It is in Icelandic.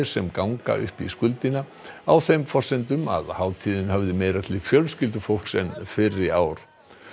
sem ganga upp í skuldina á þeim forsendum að hátíðin höfði meira til fjölskyldufólks en fyrri ár